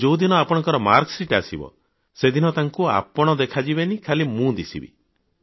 ଆଉ ଯେଉଁ ଦିନ ଆପଣଙ୍କ ମାର୍କଶିଟ ଆସିବ ସେଦିନ ତାଙ୍କୁ ଆପଣ ଦେଖା ଯିବେନି ଖାଲି ମୁଁ ଦିଶିବି